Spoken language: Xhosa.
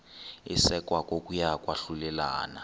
isekwa kokuya kwahlulelana